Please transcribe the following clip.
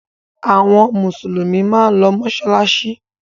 Àwọn Mùsùlùmí máa ń lọ mọ́ṣáláṣí.